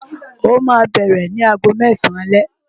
Ó ma bẹ̀rẹ̀ ni aago mẹ́sàn-án alẹ́